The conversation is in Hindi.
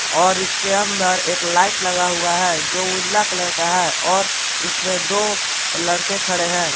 और इसके अंदर एक लाइट लगा हुआ है जो उजला कलर का है और इसमें दो लड़के खड़े हैं।